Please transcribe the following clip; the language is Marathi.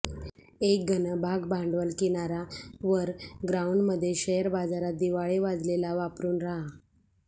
एक घन भागभांडवल किनारा वर ग्राउंड मध्ये शेयर बाजारात दिवाळे वाजलेला वापरून राहा